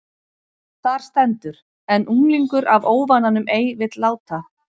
Þar stendur: En unglingur af óvananum ei vill láta